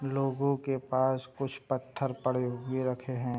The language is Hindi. लोगों के पास कुछ पत्थर पड़े हुए रखे हैं।